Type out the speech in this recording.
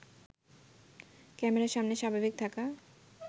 ক্যামেরার সামনে স্বাভাবিক থাকা